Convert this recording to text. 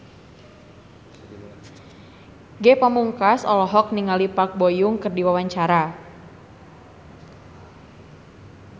Ge Pamungkas olohok ningali Park Bo Yung keur diwawancara